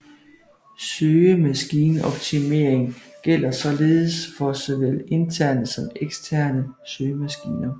Søgemaskineoptimering gælder således for såvel interne som eksterne søgemaskiner